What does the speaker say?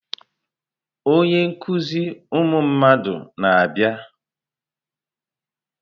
Onye nkuzi ụmụ mmadụ na-abịa.